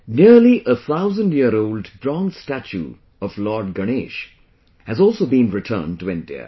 Nearly a thousand year old bronze statue of Lord Ganesha has also been returned to India